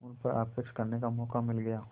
उन पर आक्षेप करने का मौका मिल गया